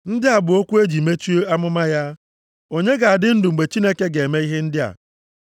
Ndị a bụ okwu o ji mechie amụma ya: “Onye ga-adị ndụ mgbe Chineke ga-eme ihe ndị a?